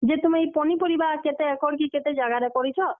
ଯେ ତୁମେ ଇ ପନିପରିବା କେତେ ଏକର୍ କି କେତେ ଜାଗାରେ କରିଛ?